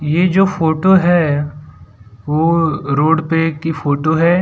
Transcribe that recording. ये जो फोटो है वो रोड पे की फोटो है।